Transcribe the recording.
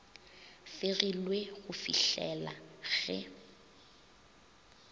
fegilwe go fih lela ge